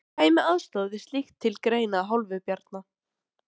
En kæmi aðstoð við slíkt til greina að hálfu Bjarna?